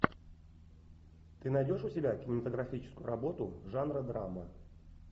ты найдешь у себя кинематографическую работу жанра драма